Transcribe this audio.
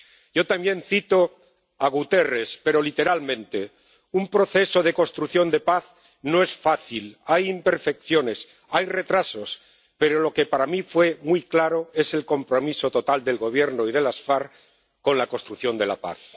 Yo también cito a Guterres, pero literalmente un proceso de construcción de paz no es fácil, hay imperfecciones, hay retrasos, pero lo que para mí fue muy claro es el compromiso total del Gobierno y de las FARC con la construcción de la paz.